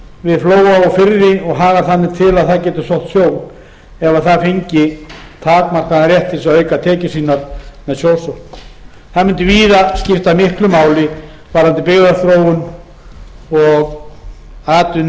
við flóa og firði og hagar þannig til að það getur sótt sjó ef það fengi takmarkaðan rétt til að auka tekjur sínar með sjósókn það mundi víða skipta miklu máli varðandi byggðaþróun